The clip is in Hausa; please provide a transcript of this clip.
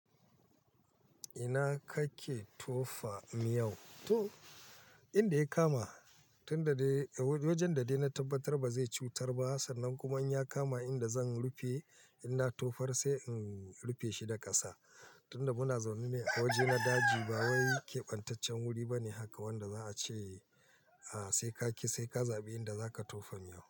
Ina kake tofa miyau? To, inda ya kama. Tunda dai, wajen da dai na tabbatar ba zai cutar ba sannan kuma inya kama inda zan rufe, ina tofar sai in rufe shi da ƙasa. Tunda muna zaune ne a waje na daji, ba wai kebantaccen wuri bane haka wanda za a ce, a sai ka kiyi, sai ka zabi inda zaka tofa miyau.